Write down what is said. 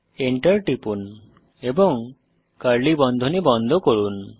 Enter টিপুন এবং curly বন্ধনী বন্ধ করুন